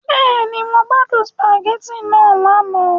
Bẹ́ẹ̀ni, Mo gbadun spaghetti naa lana